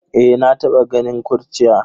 Eh, na taba ganin kurciya.